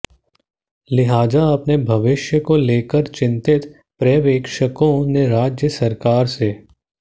लिहाजा अपने भविष्य को लेकर चिंतित पर्यवेक्षकों ने राज्य सरकार से